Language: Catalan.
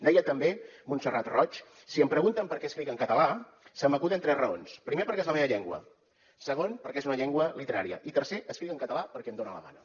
deia també montserrat roig si em pregunten per què escric en català se m’acuden tres raons primer perquè és la meva llengua segon perquè és una llengua literària i tercer escric en català perquè em dona la gana